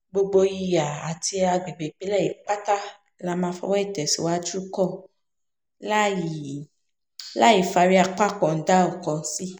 gbogbo ìhà àti àgbègbè ìpínlẹ̀ yìí pátá la máa fọwọ́ ìtẹ̀síwájú kan láìi láì fárí apá kan dá ọ̀kan sí